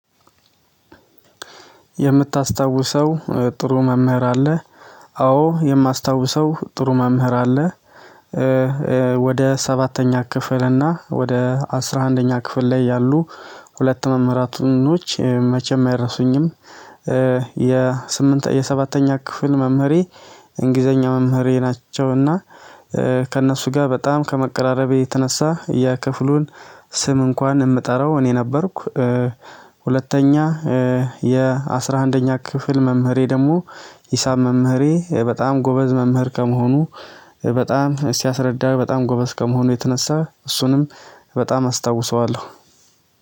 የምታስታወሰው ጥሩ መምህር አለ? አዎ የማስታውሰው ጥሩ መምህር አለ ወደ ሰባተኛ ክፍል እና ወደ አስራአንደኛ ክፍል ያሉ ሁልት መምህራቶች መቸም አይረሱኝም የሰባተኛ ክፍል መምህሬ እንግሊዘኛ መምህሬ ናቸው እና ከነሱ ጋ በጣም ከመቀራረቤ የተነሳ የክፍሉን ስም እንኳን የምጠራው እኔ ነበርኩ ሁለተኛ የ አስራአንደኛ ክፍል መምህሬ ደግሞ ሂሳብ መምህሬ በጣም ጎበዝ መምህር ከሞሆኑ በጣም ሲያስረዳ በጣም ጎበዝ ከመሆኑ የተነሳ እሱንም በጣም አስታውሰዋለሁ